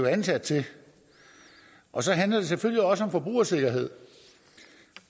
er ansat til og så handler det selvfølgelig også om forbrugersikkerhed